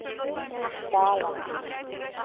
Dalakri